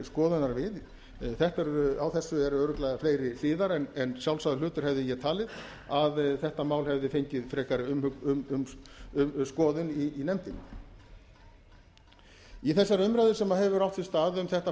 skoðunar við á þessu eru örugglega fleiri hliðar en sjálfsagður hlutur hefði ég talið að þetta mál hefði fengið frekari skoðun í nefndinni í þessari umræðu sem hefur átt sér stað um þetta